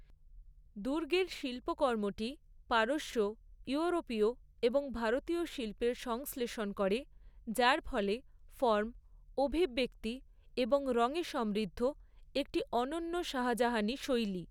দুর্গের শিল্পকর্মটি পারস্য, ইউরোপীয় এবং ভারতীয় শিল্পের সংশ্লেষণ করে, যার ফলে ফর্ম, অভিব্যক্তি এবং রঙে সমৃদ্ধ একটি অনন্য শাহজাহানি শৈলী।